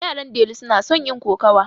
Yaran delu suna son yin kokawa.